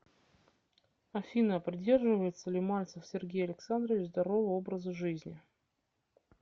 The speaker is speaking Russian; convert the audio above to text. афина придерживается ли мальцев сергей александрович здорового образа жизни